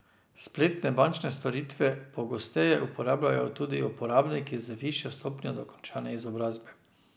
Spletne bančne storitve pogosteje uporabljajo tudi uporabniki z višjo stopnjo dokončane izobrazbe.